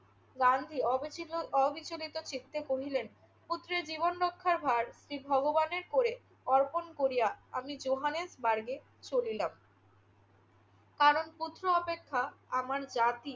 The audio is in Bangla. গান্ধী অবিচলি~ অবিচলিত চিত্তে কহিলেন, পুত্রের জীবন রক্ষার ভার শ্রী ভগবানের ক্রোড়ে অর্পণ করিয়া আমি জোহানেসবার্গে চলিলাম। কারণ পুত্র অপেক্ষা আমার জাতি